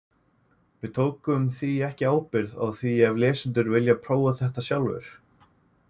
Við tökum því ekki ábyrgð á því ef lesendur vilja prófa þetta sjálfir.